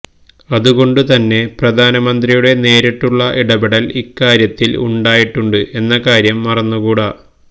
അതുകൊണ്ടുതന്നെ പ്രധാനമന്ത്രിയുടെ നേരിട്ടുള്ള ഇടപെടല് ഇക്കാര്യത്തില് ഉണ്ടായിട്ടുണ്ട് എന്ന കാര്യം മറന്നുകൂട